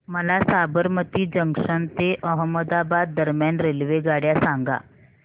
मला साबरमती जंक्शन ते अहमदाबाद दरम्यान रेल्वेगाड्या सांगा